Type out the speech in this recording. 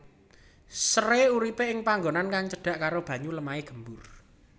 Seré urip ing panggonan kang cedhak karo banyu lemahe gembur